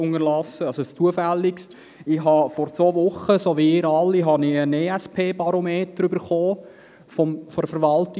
Wie Sie alle erhielt ich vor zwei Wochen von der JGK einen ESP-Barometer, Nummer 22.